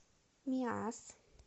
миасс